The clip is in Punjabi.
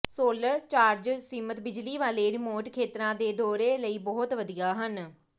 ਸੋਲਰ ਚਾਰਜਰਜ਼ ਸੀਮਤ ਬਿਜਲੀ ਵਾਲੇ ਰਿਮੋਟ ਖੇਤਰਾਂ ਦੇ ਦੌਰੇ ਲਈ ਬਹੁਤ ਵਧੀਆ ਹਨ